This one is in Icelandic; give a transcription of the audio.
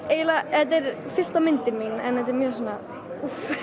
fyrsta myndin mín og þetta er mjög svona úff